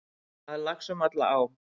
Það er lax um alla á.